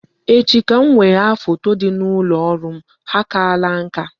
Echi ka m wegha foto ndị dị n'ụlọ ọrụ m, ha akaala nka